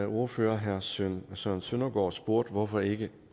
ordfører herre søren søren søndergaard spurgte hvorfor ikke